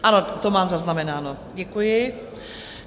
Ano, to mám zaznamenáno, děkuji.